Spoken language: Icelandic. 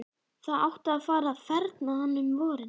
Það átti að fara að ferma hana um vorið.